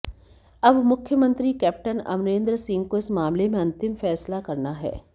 अब मुख्यमंत्री कैप्टन अमरेंद्र सिंह को इस मामले में अंतिम फैसला करना है